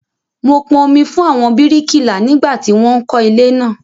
Mo pọn omi fún àwọn bíríkìlà nígbà tí wón ń kó ilé naa